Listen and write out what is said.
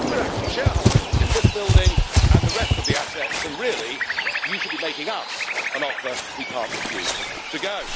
We are actually shareholders in this building and the rest of the assets and really you should be making us an offer we cannot refuse, to go.